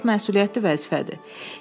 Bu çox məsuliyyətli vəzifədir.